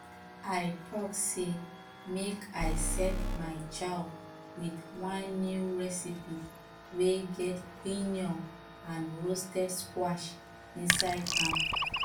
i talk say make i set my chow with one new recipe wey get quinoa and roasted squash inside am